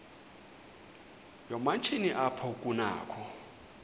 yoomatshini apho kunakho